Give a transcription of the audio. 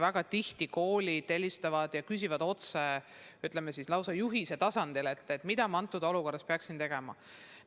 Väga tihti koolid helistavad ja küsivad otse, nõudes lausa juhist, mida praeguses olukorras peaks tegema.